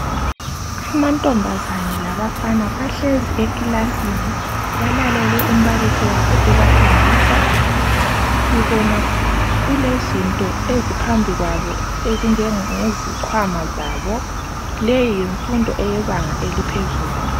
Amathombazane labafana bahlezi eklasini balalele umbalisi wabo ebafundisa. Sibona kulezinto eziphambi kwabo ezinjenge zikhwama zabo. Leyi yimfundo eyebanga eliphezulu.